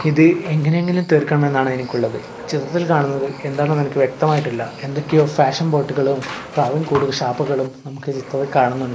ഇത് എങ്ങനെങ്കിലും തീർക്കണമെന്നാണ് എനിക്കുള്ളത് ചിത്രത്തിൽ കാണുന്നത് എന്താണെന്ന് എനിക്ക് വ്യക്തമായിട്ടില്ല എന്തൊക്കെയോ ഫാഷൻ ഷാപ്പുകളും ഒക്കെ ചിത്രത്തിൽ കാണുന്നുണ്ട്.